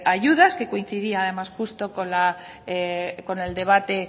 ayudas que coincidía además justo con el debate